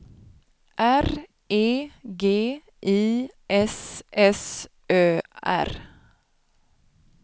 R E G I S S Ö R